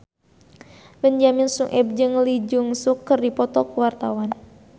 Benyamin Sueb jeung Lee Jeong Suk keur dipoto ku wartawan